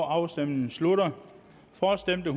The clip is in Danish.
afstemningen slutter for stemte